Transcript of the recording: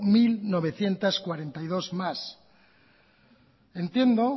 mil novecientos cuarenta y dos más entiendo